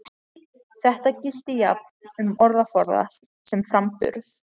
Þetta gilti jafnt um orðaforða sem framburð.